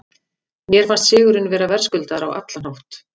Mér fannst sigurinn vera verðskuldaður á allan hátt.